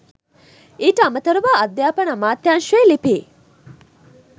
ඊට අමතරව අධ්‍යාපන අමාත්‍යංශයේ ලිපි